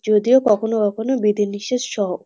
যদিও কখনো কখনো বিধি নিষেধ সহ।